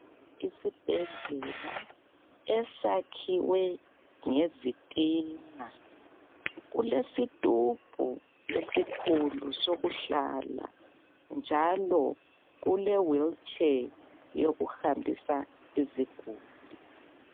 Isibhedlela esakhiwe ngezitina, kulesi tubhu esikhulu sokuhlala njalo kule wilitshe yokuhambisa iziguli.